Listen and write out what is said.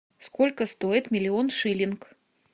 сколько стоит миллион шиллинг